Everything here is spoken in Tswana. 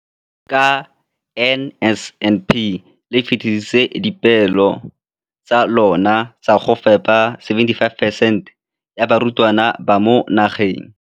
Ka NSNP le fetile dipeelo tsa lona tsa go fepa masome a supa le botlhano a diperesente ya barutwana ba mo nageng.